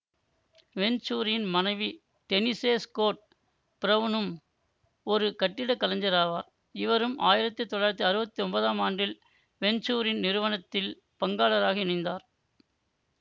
வெஞ்சூரியின் மனைவி Denise Scott பிரவுனும் ஒரு கட்டிடக்கலைஞராவார் இவரும் ஆயிரத்தி தொள்ளாயிரத்தி அறுவத்தி ஒன்பதாம் ஆண்டில் வெஞ்சூரியின் நிறுவனத்தில் பங்காளராக இணைந்தார்